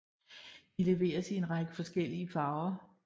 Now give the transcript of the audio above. De leveres i en række forskellige farver